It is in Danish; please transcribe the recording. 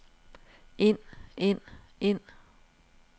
ind ind ind